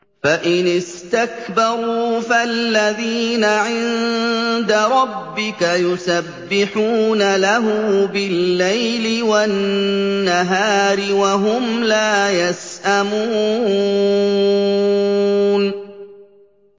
فَإِنِ اسْتَكْبَرُوا فَالَّذِينَ عِندَ رَبِّكَ يُسَبِّحُونَ لَهُ بِاللَّيْلِ وَالنَّهَارِ وَهُمْ لَا يَسْأَمُونَ ۩